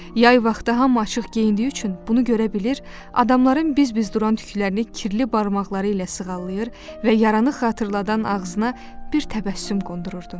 Yay vaxtı hamı açıq geyindiyi üçün bunu görə bilir, adamların biz-biz duran tüklərini kirli barmaqları ilə sığallayır və yaranı xatırladan ağzına bir təbəssüm qondururdu.